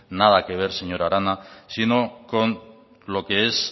nada que ver señora arana sino con lo que es